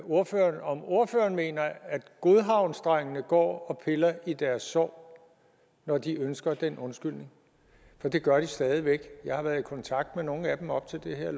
ordføreren om ordføreren mener at godhavnsdrengene går og piller i deres sår når de ønsker den undskyldning for det gør de stadig væk jeg har været i kontakt med nogle af dem op til det her